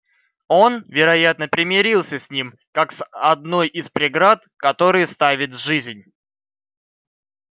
он вероятно примирился с ним как с одной из преград которые ставит жизнь